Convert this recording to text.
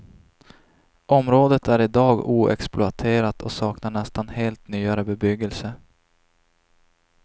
Området är i dag oexploaterat och saknar nästan helt nyare bebyggelse.